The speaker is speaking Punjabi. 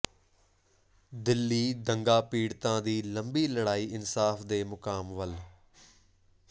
ਦਿੱਲੀ ਦੰਗਾ ਪੀੜਤਾਂ ਦੀ ਲੰਬੀ ਲੜਾਈ ਇਨਸਾਫ਼ ਦੇ ਮੁਕਾਮ ਵੱਲ